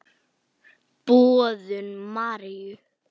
Boðun Maríu.